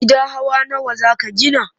Gida hawa nawa za ka gina?